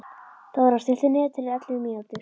Þórar, stilltu niðurteljara á ellefu mínútur.